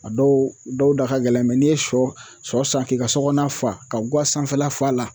A dɔw dɔw da ka gɛlɛn, n'i ye sɔ sɔ san k'i ka sɔ kɔɔna fa ka guwa sanfɛla f'a la